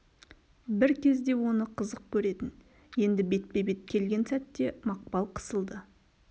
бір кезде оны қызық көретін енді бетпе бет келген сәтте мақпал қысылды